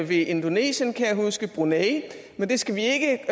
ved indonesien kan jeg huske brunei men det skal vi ikke